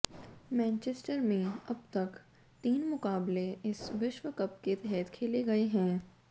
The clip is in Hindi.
मैनचेस्टर में अब तक तीन मुकाबले इस विश्व कप के तहत खेले गए हैं